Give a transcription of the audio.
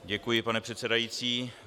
Děkuji, pane předsedající.